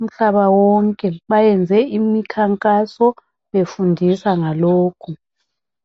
umhlaba wonke bayenze imikhankaso befundisa ngalokhu.